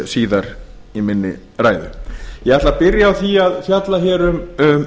síðar í minni ræðu ég ætla að byrja á því að fjalla hér um